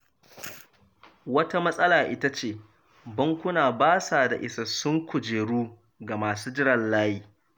Wata matsala ita ce bankuna ba sa da isassun kujeru ga masu jiran layi.